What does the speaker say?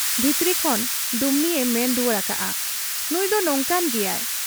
ᱵᱷᱤᱛᱨᱤ ᱠᱷᱚᱱ ᱰᱩᱢᱱᱤᱭᱮ ᱢᱮᱱ ᱨᱩᱣᱟᱹᱲ ᱟᱠᱟᱜ ᱟ 'ᱱᱩᱸᱭᱫᱚ ᱱᱚᱝᱠᱟᱱ ᱜᱮᱭᱟᱭ ᱾